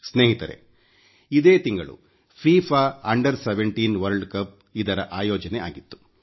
ಸ್ನೇಹಿತರೇ ಇದೇ ತಿಂಗಳು ಫಿಫಾ ಅಂಡರ್ 17 ವರ್ಲ್ಡ್ ಕಪ್ ಆಯೋಜನೆಯಾಗಿತ್ತು